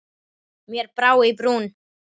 Mér brá í brún.